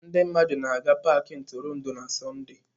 Ndị mmadụ na-aga paaki ntụrụndụ na Sọnde.